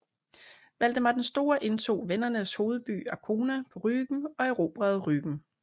Valdemar den Store indtog vendernes hovedby Arkona på Rügen og erobrede Rügen